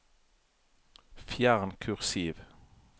Fjern kursiv